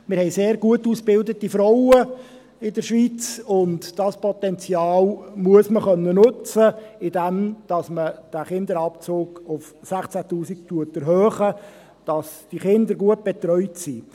Wir haben in der Schweiz sehr gut ausgebildete Frauen, und dieses Potenzial muss man nutzen können, indem man diesen Kinderabzug auf 16’000 Franken erhöht, damit die Kinder gut betreut sind.